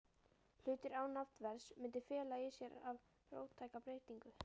hlutir án nafnverðs, mundi fela í sér of róttæka breytingu.